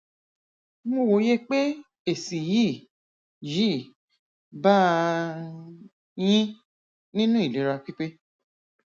mo wòye pé èsì yìí yìí bàa yín nínú ìlera pípé